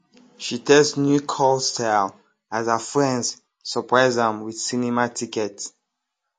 she test new curl style as her friends surprise am with cinema ticket